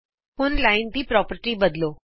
ਆਉ ਰੇਖਾ ਦੀ ਪੋ੍ਰਪਰਟੀ ਬਦਲੋ